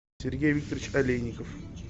сергей викторович олейников